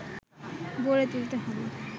গড়ে তুলতে হবে